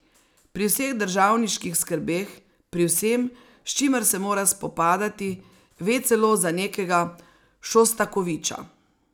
Pri vseh državniških skrbeh, pri vsem, s čimer se mora spopadati, ve celo za nekega Šostakoviča.